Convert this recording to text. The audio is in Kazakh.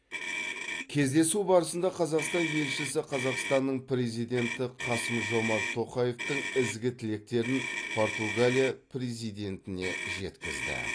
кездесу барысында қазақстан елшісі қазақстанның президенті қасым жомарт тоқаевтың ізгі тілектерін португалия президентіне жеткізді